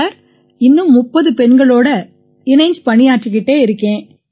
sir இன்னும் 30 பெண்களோட இணைஞ்சு பணியாற்றிக்கிட்டு இருக்கேன்